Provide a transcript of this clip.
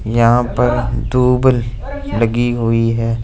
यहाँ पर दो बल लगी हुई हैं।